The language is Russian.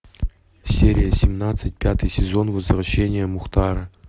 серия семнадцать пятый сезон возвращение мухтара